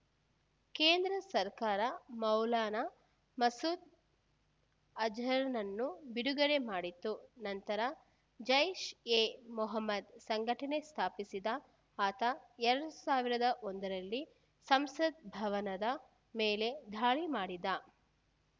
ಕೇಂದ್ರ ಸರ್ಕಾರ ಮೌಲಾನಾ ಮಸೂದ್‌ ಅಜರ್‌ನನ್ನು ಬಿಡುಗಡೆ ಮಾಡಿತ್ತು ನಂತರ ಜೈಷ್‌ ಎ ಮೊಹಮ್ಮದ್‌ ಸಂಘಟನೆ ಸ್ಥಾಪಿಸಿದ ಆತ ಎರಡು ಸಾವಿರದ ಒಂದರಲ್ಲಿ ಸಂಸತ್‌ ಭವನದ ಮೇಲೆ ದಾಳಿ ಮಾಡಿದ್ದ